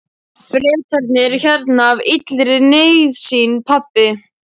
Bretarnir eru hérna af illri nauðsyn, pabbi!